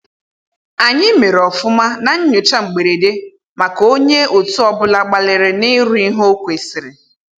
Anyị mere ofụma na nyocha mgberede maka onye otu ọ bụla gbalịrị na iru ihe o kwesịrị